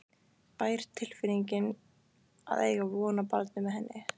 bær tilfinning að eiga von á barni með henni.